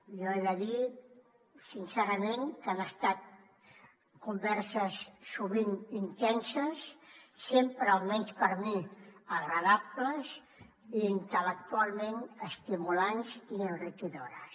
jo he de dir sincerament que han estat converses sovint intenses sempre almenys per a mi agradables i intel·lectualment estimulants i enriquidores